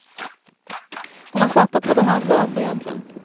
Hon har fattat vad det handlar om egentligen.